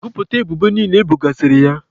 Gụpụta ebubo niile ebogasịrị ya!